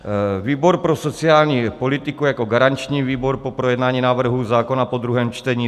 Výbor pro sociální politiku jako garanční výbor po projednání návrhu zákona po druhém čtení